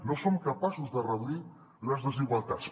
no som capaços de reduir les desigualtats